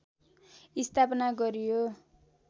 स्थापना गरियो